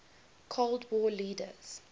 cold war leaders